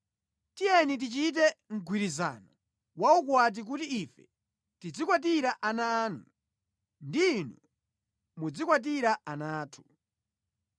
Tiyeni tichite mgwirizano wa ukwati kuti ife tidzikwatira ana anu ndi inu mudzikwatira ana athu.